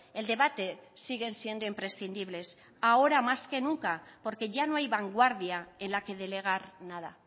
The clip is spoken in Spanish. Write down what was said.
el debate siguen siendo imprescindibles ahora más que nunca porque ya no hay vanguardia en la que delegar nada